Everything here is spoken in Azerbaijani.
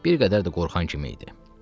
Bir qədər də qorxan kimi idi.